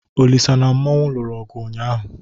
Olisa na Mmanwu lụrụ ọgụ ụnyaahụ.